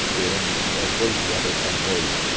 Esperamos até as oito horas da noite.